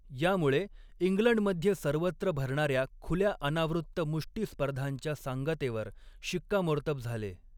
यामुळे इंग्लंडमध्ये सर्वत्र भरणाऱ्या खुल्या अनावृत्त मुष्टी स्पर्धांच्या सांगतेवर शिक्कामोर्तब झाले.